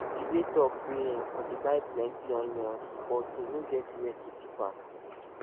jide talk say im for dey buy plenty onions once but e no get where to keep am